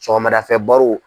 Cɛɔgɔmadafɛ .